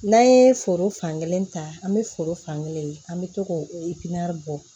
N'an ye foro fankelen ta an bɛ foro fankelen ye an bɛ to k'o bɔ